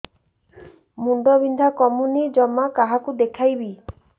ମୁଣ୍ଡ ବିନ୍ଧା କମୁନି ଜମା କାହାକୁ ଦେଖେଇବି